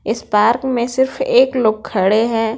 इस पार्क में सिर्फ एक लोग खड़े हैं।